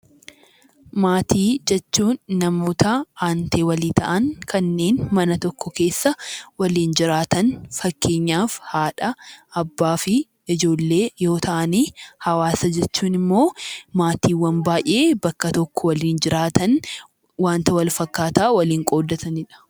Maatii jechuun namoota aantee walii ta'an kanneen mana tokko keessa waliin jiraatan fakkeenyaaf haadha, abbaa fi ijoollee yoo ta'an, hawaasa jechuun immoo maatiiwwan baay'ee bakka tokko waliin jiraatan wanta walfakkaataa waliin qooddatanidha.